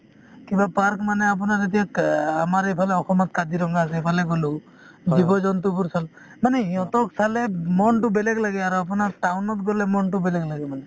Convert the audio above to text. কিবা park মানে আপোনাৰ এতিয়া ক আমাৰ এইফালে অসমত কাজিৰঙা আছে সেইফালে গ'লো জীৱ -জন্তুবোৰ চালো মানে ইহঁতক চালে মনতো বেলেগ লাগে আৰু আপোনাৰ town ত গ'লে মনতো বেলেগ লাগে মানে